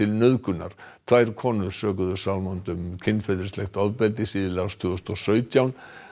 nauðgunar tvær konur sökuðu Salmond um kynferðislegt ofbeldi síðla árs tvö þúsund og sautján